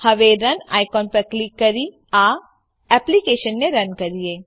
હવે run icon પર click કરી આ એપ્લીકેશનને રન કરીએ